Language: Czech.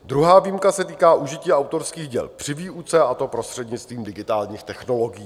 Druhá výjimka se týká užití autorských děl při výuce, a to prostřednictvím digitálních technologií.